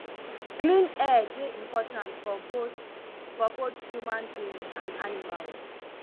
clean air dey important for both for both human being and animals